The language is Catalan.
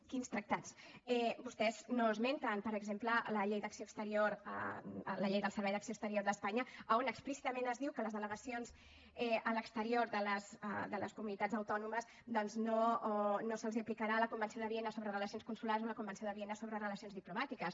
quins tractats vostès no esmenten per exemple la llei d’acció exterior la llei del servei d’acció exterior d’espanya on explícitament es diu que a les delegacions a l’exterior de les comunitats autònomes doncs no se’ls aplicarà la convenció de viena sobre relacions consulars o la convenció de viena sobre relacions diplomàtiques